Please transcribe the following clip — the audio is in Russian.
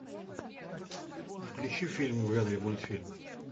включи фильм в жанре мультфильм